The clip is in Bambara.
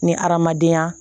Ni adamadenya